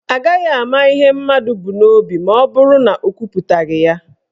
Agaghị ama ihe mmadụ bụ n'obi maọbụrụ na ọ kwuputaghị ya.